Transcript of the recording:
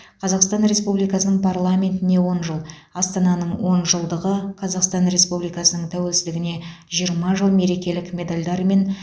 қазақстан республикасының парламентіне он жыл астананың он жылдығы қазақстан республикасының тәуелсіздігіне жиырма жыл мерекелік медальдарымен